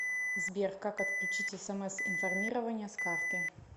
сбер как отключить смс информирование с карты